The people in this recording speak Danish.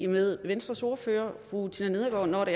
med venstres ordfører fru tina nedergaard når